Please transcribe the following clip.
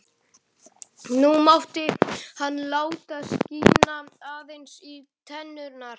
Nú mátti hann láta skína aðeins í tennurnar.